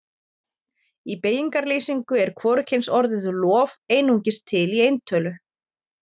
í beygingarlýsingu er hvorugkynsorðið lof einungis til í eintölu